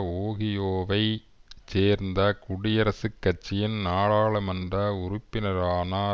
ஓஹியோவைச் சேர்ந்த குடியரசுக் கட்சியின் நாடாளுமன்ற உறுப்பினரான